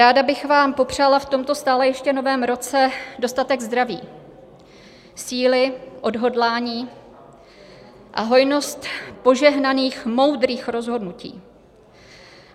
Ráda bych vám popřála v tomto stále ještě novém roce dostatek zdraví, síly, odhodlání a hojnost požehnaných moudrých rozhodnutí.